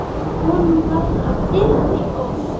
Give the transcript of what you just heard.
Honum varð að þeirri ósk.